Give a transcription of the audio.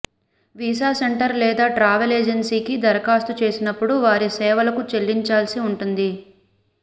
visa centre లేదా travel ఏజెన్సీకి దరఖాస్తు చేసినప్పుడు వారి సేవలకు చెల్లించాల్సి ఉంటుంది